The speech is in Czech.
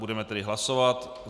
Budeme tedy hlasovat.